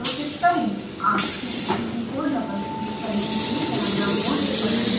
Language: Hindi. आंख की स्थिति को डबल क्लिक करने से कैमरा मोड बदलने का मेनू प्रदर्शित होता है